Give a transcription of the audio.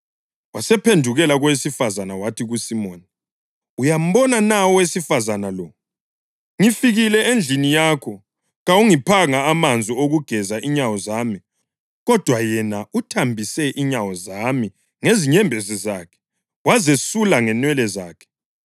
Wasephendukela kowesifazane wathi kuSimoni, “Uyambona na owesifazane lo? Ngifikile endlini yakho, kawungiphanga amanzi okugeza inyawo zami, kodwa yena uthambise inyawo zami ngezinyembezi zakhe, wazesula ngenwele zakhe.